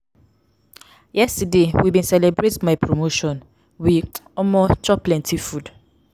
yesterday we bin celebrate my promotion we um chop plenty food.